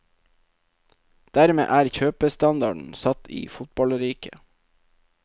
Dermed er kjøpestandarden satt i fotballriket.